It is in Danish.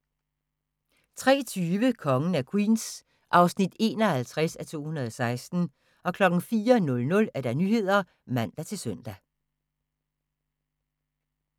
03:20: Kongen af Queens (51:216) 04:00: Nyhederne (man-søn)